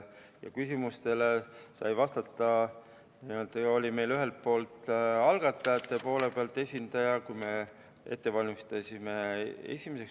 Ja küsimustele vastati, meil oli esimeseks lugemiseks ette valmistades algatajate esindaja.